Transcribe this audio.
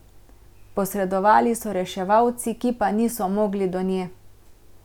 Posredovali so reševalci, ki pa niso mogli do nje.